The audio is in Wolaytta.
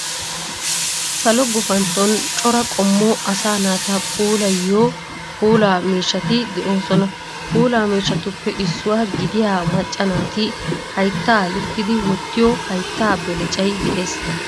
Salo gufantton cora qommo asaa naata puulayiyo puulaa miishshaati de"osona. Puulaa miishsatuppe isuwaa gidiyaa maaca naati hayitta luukkidi woottiyo haayitta beelecayi de"ees.